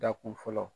Dakun fɔlɔ